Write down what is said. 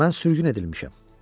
Mən sürgün edilmişəm.